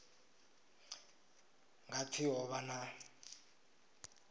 nga pfi ho vha na